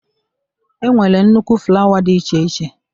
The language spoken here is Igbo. E nwere nnukwu flawa dị iche iche.